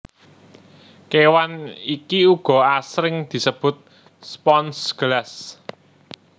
Kewan iki uga asring disebut spons gelas